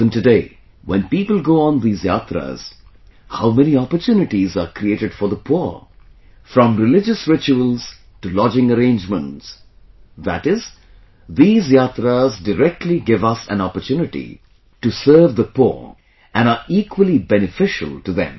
Even today, when people go on these yatras, how many opportunities are created for the poor... from religious rituals to lodging arrangements... that is, these yatras directly give us an opportunity to serve the poor and are equally beneficial to them